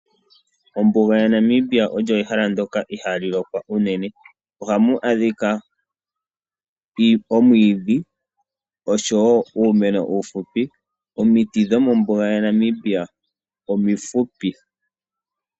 Ombuga yaNamibia olyo ehala ndyoka ihaali lokwa unene. Ohamu adhika omwiidhi oshowo uumeno uufupi, Omiti dhomombuga yaNamibia omifupi.